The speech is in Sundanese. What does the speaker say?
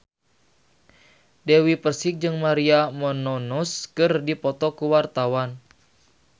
Dewi Persik jeung Maria Menounos keur dipoto ku wartawan